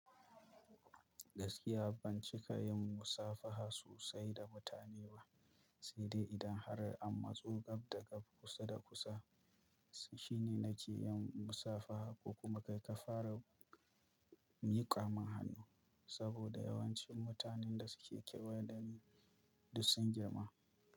Gaskiya ban cika yin musafaha sosai da mutane ba, sai dai idan har an matso gab da gab kusa da kusa shine nake yin musafaha ko kuma kai ka fara mika min hannu saboda yawancin mutanen da suke kewaye da ni duk sun girma.